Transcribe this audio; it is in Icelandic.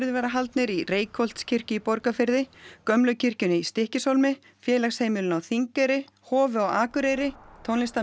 verða haldnir í Reykholtskirkju í Borgarfirði gömlu kirkjunni í Stykkishólmi félagsheimilinu á Þingeyri Hofi á Akureyri